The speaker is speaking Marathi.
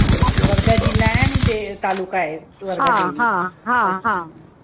वर्धा जिल्हा आहे आणि ते तालुका आहे